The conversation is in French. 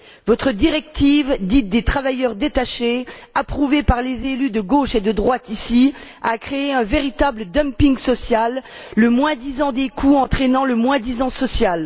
Votre directive, dite des travailleurs détachés, approuvée par les élus de gauche et de droite ici, a créé un véritable dumping social, le moins disant des coûts entraînant le moins disant social.